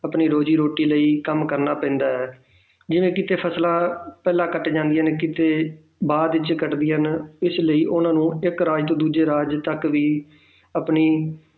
ਆਪਣੀ ਰੋਜ਼ੀ ਰੋਟੀ ਲਈ ਕੰਮ ਕਰਨਾ ਪੈਂਦਾ ਹੈ ਜਿਵੇਂ ਕਿਤੇ ਫ਼ਸਲਾਂ ਪਹਿਲਾਂ ਕੱਟੀਆਂ ਜਾਂਦੀਆਂ ਹਨ ਕਿਤੇ ਬਾਅਦ ਵਿੱਚ ਕੱਟਦੀਆਂ ਹਨ ਇਸ ਲਈ ਉਹਨਾਂ ਨੂੰ ਇੱਕ ਰਾਜ ਤੋਂ ਦੂਜੇ ਰਾਜ ਤੱਕ ਵੀ ਆਪਣੀ